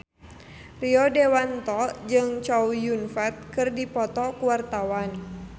Rio Dewanto jeung Chow Yun Fat keur dipoto ku wartawan